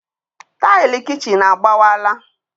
Taịlị kichin agbawala